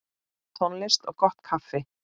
Tónlist og gott kaffi.